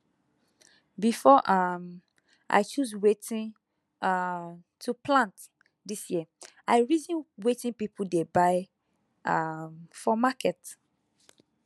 before um i choose wetin um to plant this year i reason wetin people dey buy um for market